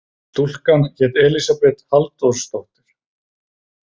Stúlkan hét Elísabet Halldórsdóttir.